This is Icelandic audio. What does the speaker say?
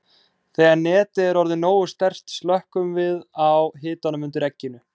Þegar netið er orðið nógu sterkt slökkvum við á hitanum undir egginu.